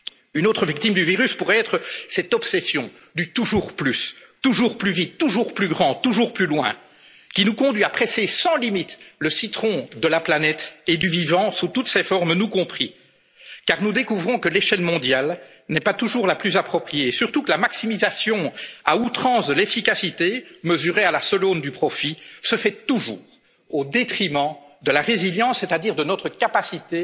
les respecter. Une autre victime du virus pourrait être cette obsession du toujours plus, toujours plus vite, toujours plus grand, toujours plus loin qui nous conduit à presser sans limites le citron de la planète et du vivant sous toutes ses formes, nous compris. Car nous découvrons que l'échelle mondiale n'est pas toujours la plus appropriée et surtout que la maximisation à outrance de l'efficacité mesurée à la seule aune du profit se fait toujours au détriment de notre résilience, c'est à dire de